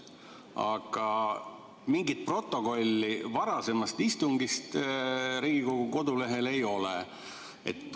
Aga mingit varasema istungi protokolli Riigikogu kodulehel ei ole.